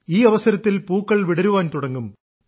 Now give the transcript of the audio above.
ഈ അവസരത്തിൽ പൂക്കൾ വിടരുവാൻ തുടങ്ങും